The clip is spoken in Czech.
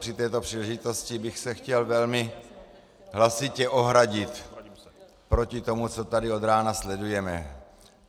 Při této příležitosti bych se chtěl velmi hlasitě ohradit proti tomu, co tady od rána sledujeme.